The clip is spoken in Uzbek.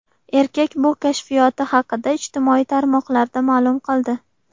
Erkak bu kashfiyoti haqida ijtimoiy tarmoqlarda ma’lum qildi.